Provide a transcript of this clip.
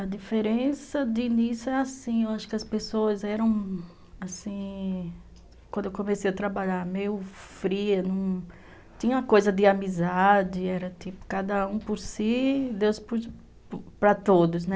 A diferença de início é assim, eu acho que as pessoas eram assim... Quando eu comecei a trabalhar, meio fria, não... Tinha uma coisa de amizade, era tipo, cada um por si, Deus para todos, né?